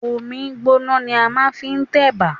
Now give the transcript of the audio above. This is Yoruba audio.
Omí gbọ́na ni a máà ń fi n tẹ̀bà.